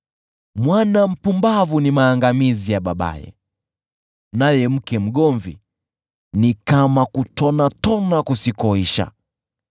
Mwana mpumbavu ni maangamizi ya babaye, naye mke mgomvi ni kama kutonatona kusikoisha.